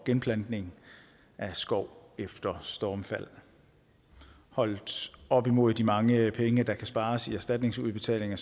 genplantning af skov efter stormfald holdt op imod de mange penge der kan spares i erstatningsudbetalinger